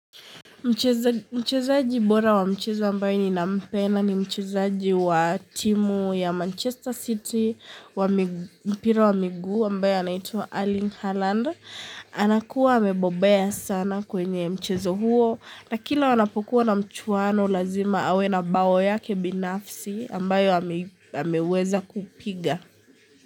Mchezaji bora wa mchezo ambaye ninampenda ni mchezaji wa timu ya Manchester City wa mpira wa miguu ambayo anaitwa Arling Haaland. Anakuwa amebobea sana kwenye mchezo huo na kila wanapokuwa na mchwano lazima awe na bawo yake binafsi ambayo ameweza kupiga.